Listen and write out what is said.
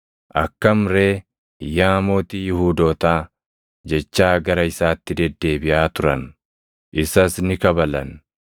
“Akkam ree, yaa Mootii Yihuudootaa!” jechaa gara isaatti deddeebiʼaa turan. Isas ni kabalan.